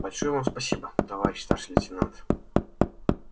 большое вам спасибо товарищ старший лейтенант